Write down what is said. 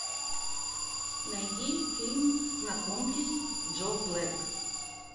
найди фильм знакомьтесь джо блэк